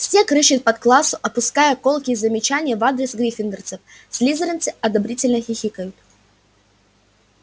снегг рыщет по классу отпуская колкие замечания в адрес гриффиндорцев слизеринцы одобрительно хихикают